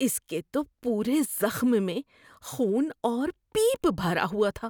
اس کے تو پورے زخم میں خون اور پیپ بھرا ہوا تھا۔